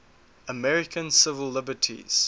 american civil liberties